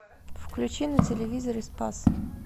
включи на телевизоре спас